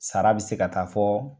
Sara bɛ se ka taa fɔ